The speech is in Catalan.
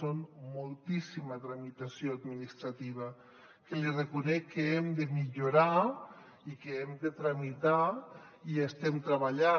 és moltíssima tramitació administrativa que li reconec que hem de millorar i que ho hem de tramitar i hi estem treballant